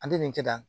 An tɛ nin kɛ tan